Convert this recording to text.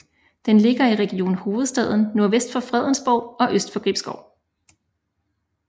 Den ligger i Region Hovedstaden nordvest for Fredensborg og øst for Gribskov